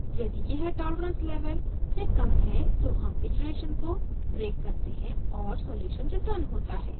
यदि यह tolerance level से कम है तो हम इटरेशन को ब्रेक करते हैं और सॉल्युशन रिटर्न होता है